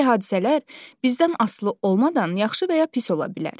Bəzi hadisələr bizdən asılı olmadan yaxşı və ya pis ola bilər.